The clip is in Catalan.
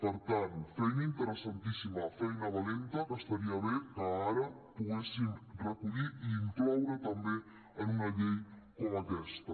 per tant feina interessantíssima feina valenta que estaria bé que ara poguéssim recollir i incloure també en una llei com aquesta